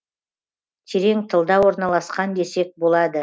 терең тылда орналасқан десек болады